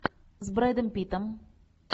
с брэдом питтом